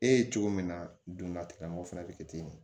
E ye cogo min na donnatikɔnɔ o fɛnɛ bɛ kɛ ten de